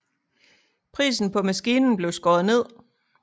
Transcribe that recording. Prisen på maskinen blev skåret ned